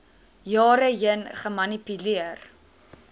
jare heen gemanipuleer